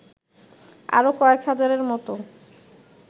আরও কয়েক হাজারের মতো